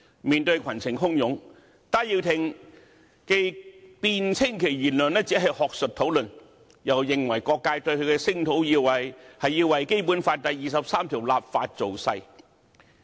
面對群情洶湧，戴耀廷辯稱其言論只是學術討論，又認為各界對他的聲討，是為《基本法》第二十三條立法造勢。